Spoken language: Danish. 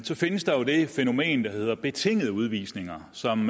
så findes der jo det fænomen der hedder betingede udvisninger som